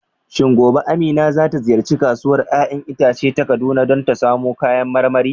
Shin gobe Amina za ta ziyarci Kasuwar 'ya'yan itace ta Kaduna don samun kayan marmari?